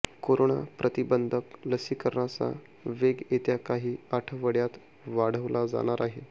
corona प्रतिबंधक लसीकरणाचा वेग येत्या काही आठवड्यांत वाढवला जाणार आहे